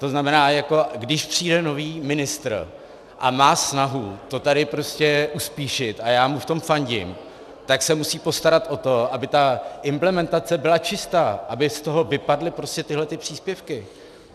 To znamená, když přijde nový ministr a má snahu to tady uspíšit, a já mu v tom fandím, tak se musí postarat o to, aby ta implementace byla čistá, aby z toho vypadly tyto přílepky.